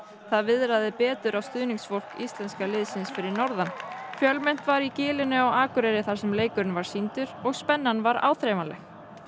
það viðraði betur á stuðningsfólk íslenska liðsins fyrir norðan fjölmennt var í gilinu á Akureyri þar sem leikurinn var sýndur og spennan var áþreifanleg